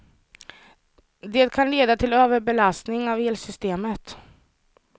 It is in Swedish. Det kan leda till överbelastning av elsystemet.